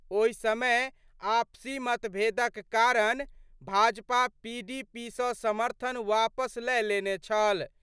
ओहि समय आपसी मतभेदक कारण भाजपा पीडीपी सं समर्थन वापस लए लेने छल।